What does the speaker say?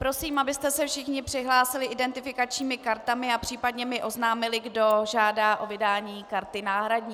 Prosím, abyste se všichni přihlásili identifikačními kartami a případně mi oznámili, kdo žádá o vydání karty náhradní.